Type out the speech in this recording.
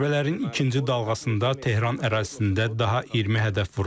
Zərbələrin ikinci dalğasında Tehran ərazisində daha 20 hədəf vurulub.